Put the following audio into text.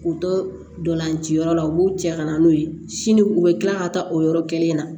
K'u tolanci yɔrɔ la u b'u cɛ ka na n'o ye sini u bɛ tila ka taa o yɔrɔ kelen in na